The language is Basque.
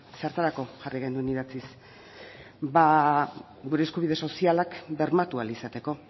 zertarako jarri genuen idatziz ba gure eskubide sozialak bermatu ahal izateko